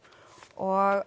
og